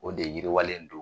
O de yiriwalen don